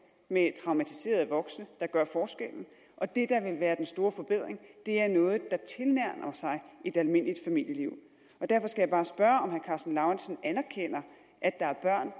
med traumatiserede voksne der gør forskellen og det der vil være den store forbedring er noget der tilnærmer sig et almindeligt familieliv derfor skal jeg bare spørge om herre karsten lauritzen anerkender at der er børn